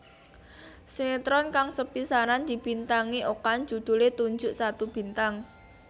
Sinetron kang sepisanan dibintangi Okan judhulé Tunjuk Satu Bintang